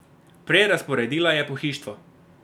Prerazporedila je pohištvo.